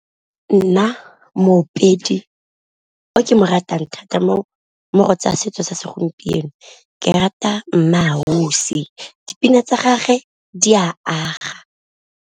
Nna moopedi o ke mo ratang thata mo go tsa setso sa segompieno, ke rata MmaAusi dipina tsa gage di a aga.